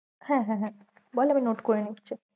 হ্যাঁ হ্যাঁ হ্যাঁ বল আমি note করে নিচ্ছি